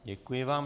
Děkuji vám.